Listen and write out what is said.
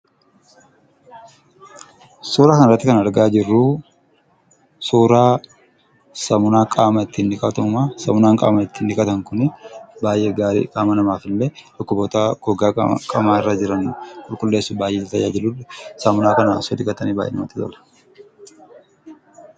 Suuraa kanarratti kan argaa jirru suuraa saamunaa qaama ittiin dhiqatamudha. Saamunaan qaama ittiin dhiqatan kun baay'ee gaariidha. Qaama namaaf illee qaama namaaf dhibee gogaa qaamaarraa qulqulleessuuf baay'ee nu tajaajiludha. Qaama isaanii dhiqachuuf namoonni kana filatu.